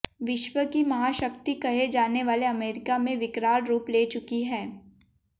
विश्व की महाशक्ति कहे जाने वाले अमेरिका में विकराल रूप ले चुकी है